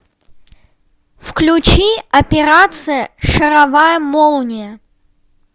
включи операция шаровая молния